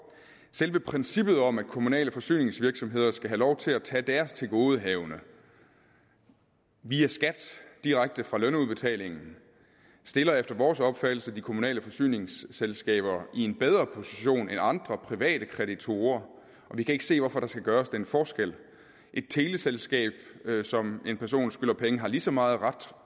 selve princippet om at kommunale forsyningsvirksomheder skal have lov til at tage deres tilgodehavende via skat direkte fra lønudbetalingen stiller efter vores opfattelse de kommunale forsyningsselskaber i en bedre position end andre private kreditorer og vi kan ikke se hvorfor der skal gøres den forskel et teleselskab som en person skylder penge har ligeså meget ret